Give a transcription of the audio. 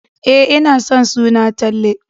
E, ina son suna Talle.